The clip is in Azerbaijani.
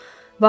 Vaxtı.